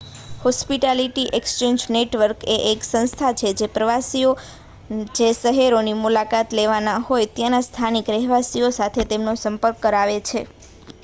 hospitality exchange network એ એક સંસ્થા છે જે પ્રવાસીઓ જે શહેરોની મુલાકાત લેવાના હોય ત્યાંના સ્થાનિક રહેવાસીઓ સાથે તેમનો સંપર્ક કરાવે છે